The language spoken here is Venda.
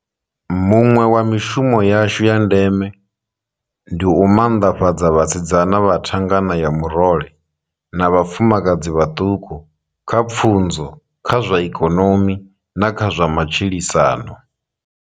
Muṅwe wa mishumo yashu ya ndeme ndi u manḓafhadza vhasidzana vha thangana ya murole na vhafumakadzi vhaṱuku, kha pfunzo, kha zwa ikonomi na kha zwa matshilisano.